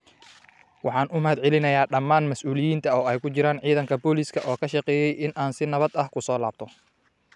Waxaan u mahadcelinayaa dhammaan mas’uuliyiinta, oo ay ku jiraan Ciidanka Booliska, oo ka shaqeeyay in aan si nabad ah ku soo laabto.”